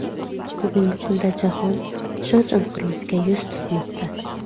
Bugungi kunda jahon ishonch inqiroziga yuz tutmoqda.